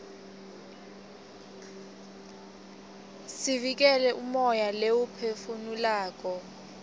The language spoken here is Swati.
siuikele umoya leiwuphefu nulako